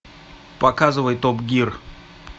показывай топ гир